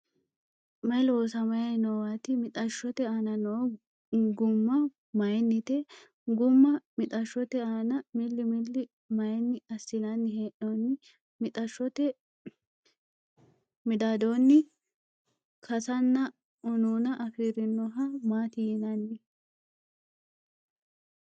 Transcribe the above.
May loosamay noowaati? Mixashshote aana noo gumma maayinnite? Gumma mixashshote aana milli milli maayinni assinanni hee'noonni? Mixashshote midaadoonni kasanna unuuna afirinoha maati yinanni?